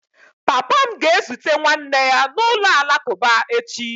Papa m ga-ezute nwanne ya n'ụlọ alakụba echi.